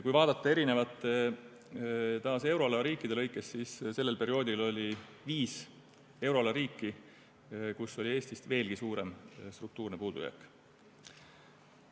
Kui vaadata taas euroala eri riike, siis sellel perioodil oli viis euroala riiki, kus oli Eestist veelgi suurem struktuurne puudujääk.